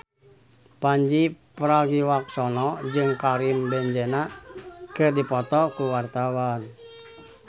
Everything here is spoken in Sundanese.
Pandji Pragiwaksono jeung Karim Benzema keur dipoto ku wartawan